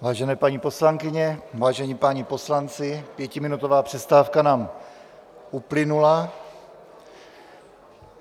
Vážené paní poslankyně, vážení páni poslanci, pětiminutová přestávka nám uplynula.